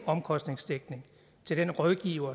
omkostningsdækning til den rådgiver